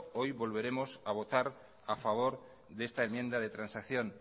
hoy volveremos a votar a favor de esta enmienda de transacción